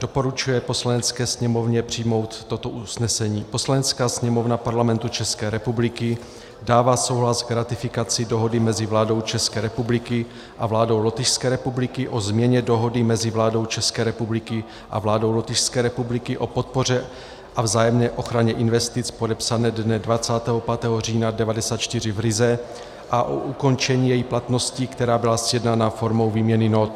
Doporučuje Poslanecké sněmovně přijmout toto usnesení: Poslanecká sněmovna Parlamentu České republiky dává souhlas k ratifikaci Dohody mezi vládou České republiky a vládou Lotyšské republiky o změně Dohody mezi vládou České republiky a vládou Lotyšské republiky o podpoře a vzájemné ochraně investic, podepsané dne 25. října 1994 v Rize, a o ukončení její platnosti, která byla sjednána formou výměny nót;